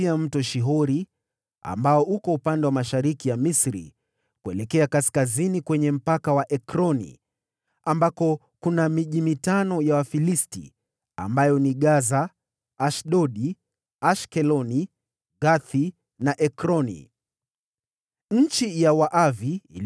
kutoka Mto Shihori ulioko mashariki mwa Misri, kuelekea kaskazini kwenye eneo la Ekroni, ambayo yote ilihesabika kama ya Wakanaani (maeneo yale matano ya watawala wa Kifilisti, ambayo ni Gaza, Ashdodi, Ashkeloni, Gathi na Ekroni: ndiyo nchi ya Waavi);